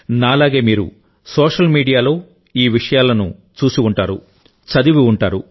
నా లాగే మీరు సోషల్ మీడియాలో ఈ విషయాలను చూసి ఉంటారు చదివి ఉంటారు